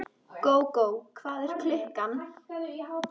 Gógó, hvað er klukkan?